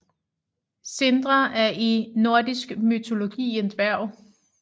Sindre er i nordisk mytologi en dværg